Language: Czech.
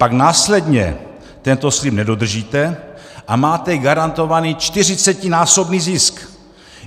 Pak následně tento slib nedodržíte a máte garantovaný čtyřicetinásobný zisk.